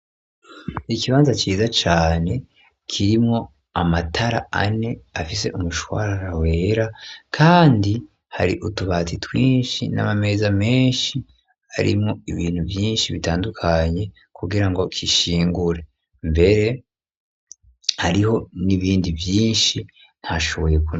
Ikibanza ciza cane kirimwo amatara ane afise umushwara wera kandi hari utubatsi twinshi n'amameza menshi arimo ibintu vyinshi bitandukanye kugira ngo kishingure mbere ariho n'ibindi vyinshi ntashoboye kure.